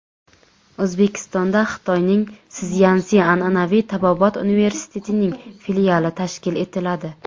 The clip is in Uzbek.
O‘zbekistonda Xitoyning Szyansi an’anaviy tabobat universitetining filiali tashkil etiladi.